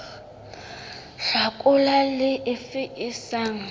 hlakola le efe e sa